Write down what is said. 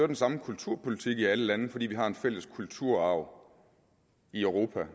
den samme kulturpolitik i alle lande fordi vi har en fælles kulturarv i europa